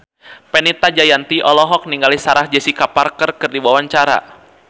Fenita Jayanti olohok ningali Sarah Jessica Parker keur diwawancara